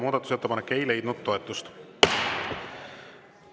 Muudatusettepanek ei leidnud toetust.